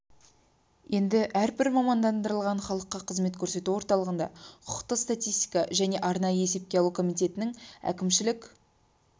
енді әрбір мамандандырылған халыққа қызмет көрсету орталығында құқықтық статистика және арнайы есепке алу комитетінің әкімшілік